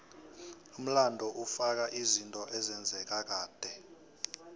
umlando ufaka izinto ezenzeka kade